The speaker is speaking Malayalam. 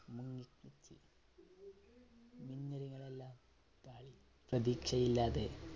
പ്രതീക്ഷയില്ലാതെ